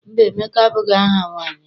Mba, Emeka abụghị aha nwaanyị.